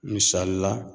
Misali la